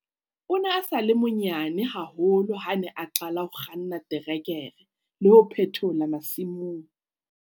O ne a sa le monyane haholo ha a ne a qala ho kganna terekere le ho phethola masimong.